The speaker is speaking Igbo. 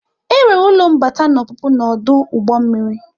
Enwere ụlọ mbata na ọpụpụ na ọdụ ụgbọ mmiri.